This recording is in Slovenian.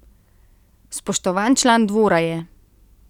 Spoštovan član dvora je.